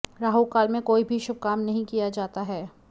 राहुकाल में कोई भी शुभ काम नहीं किया जाता है